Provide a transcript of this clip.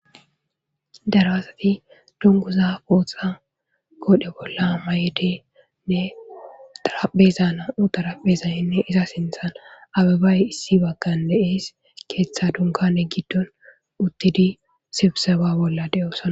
Darasati dunguza qooxa godhe bolla mayedenne darabezana utarapezayinne iza sinthan ababay issi baggan de7ees keeththa dunka ne giddon uttidi sibseba bolla de7osa.